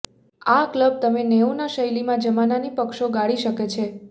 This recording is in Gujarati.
આ ક્લબ તમે નેવુંના શૈલીમાં જમાનાની પક્ષો ગાળી શકે છે